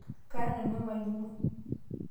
kara nanu emalimui